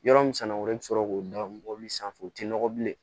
Yɔrɔ min sanu wɛrɛ i bɛ sɔrɔ k'o da bɔli sanfɛ u tɛ nɔgɔ bilen